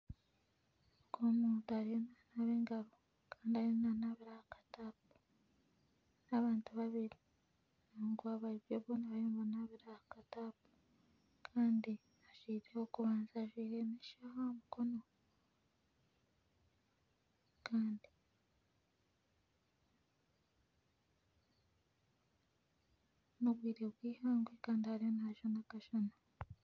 Omuntu ariyo nanaaba engaro kandi ariyo nanaabira aha katapu n'abantu babiiri boona bariyo nibanabira aha katapu kandi ow'okubanza ajwaire n'eshaaha aha mukono kandi n'obwire bw'ihangwe kandi ariyo nayota akashana.